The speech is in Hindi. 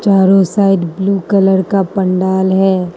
और उस साइड ब्ल्यू कलर का पंडाल है।